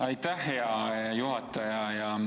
Aitäh, hea juhataja!